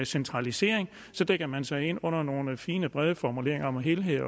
centralisering så dækker man sig ind under nogle fine brede formuleringer om helhed